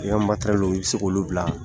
I y'a matɛrɛlu i be se k' olu bila